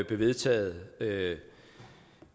blev vedtaget